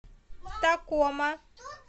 такома